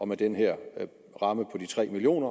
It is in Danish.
med den her ramme på de tre million